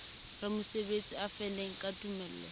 ramosebetsi a faneng ka tumello